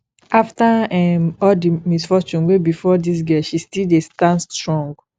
after um all the misfortune wey befall dis girl she still dey stand strong